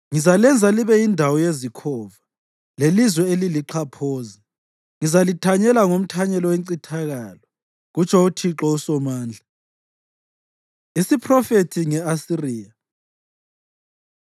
“Ngizalenza libe yindawo yezikhova lelizwe elilixhaphozi. Ngizalithanyela ngomthanyelo wencithakalo,” kutsho uThixo uSomandla. Isiphrofethi Nge-Asiriya